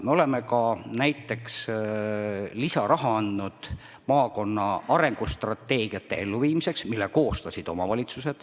Me oleme ka näiteks andnud lisaraha omavalitsuste koostatud maakonna arengustrateegiate elluviimiseks.